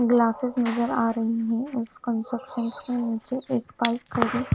glasses नज़र आरही है और उसके रिसेप्शन के नीचे एक बाइक खड़ी--